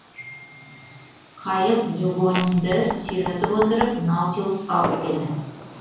қайық дюгоньді сүйретіп отырып наутилусқа алып келді